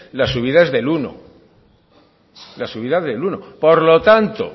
la subida es del uno por ciento por lo tanto